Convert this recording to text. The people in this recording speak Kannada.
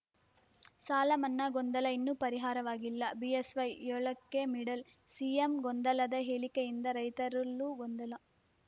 ಸಾಲ ಮನ್ನಾ ಗೊಂದಲ ಇನ್ನೂ ಪರಿಹಾರವಾಗಿಲ್ಲ ಬಿಎಸ್‌ವೈ ಏಳಕ್ಕೆ ಮಿಡಲ್‌ ಸಿಎಂ ಗೊಂದಲದ ಹೇಳಿಕೆಯಿಂದ ರೈತರಲ್ಲೂ ಗೊಂದಲ